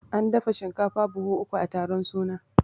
An dafa shinkafa buhu uku a taron suna